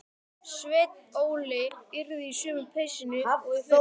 Sveinn Óli yrði í sömu peysunni og í fyrra.